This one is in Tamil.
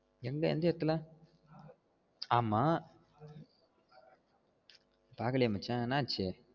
எங்க எந்த எடத்துல ஆமா பாக்கலையே மச்சான் என்னாச்சு